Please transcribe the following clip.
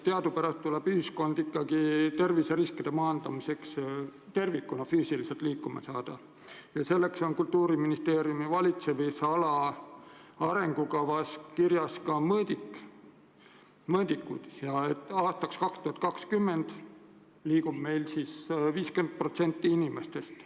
Teadupärast tuleb elanikkond ikkagi terviseriskide maandamiseks tervikuna füüsiliselt liikuma saada ja selleks on Kultuuriministeeriumi valitsemisala arengukavas kirjas ka eesmärk, et aastaks 2020 liigub meil 50% inimestest.